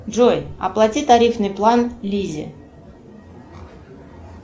джой оплати тарифный план лизе